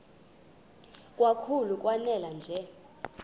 kakhulu lanela nje